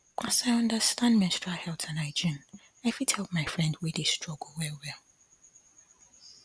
as i understand menstrual health and hygiene i fit help my friend wey dey struggle wellwell